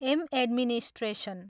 Am administration.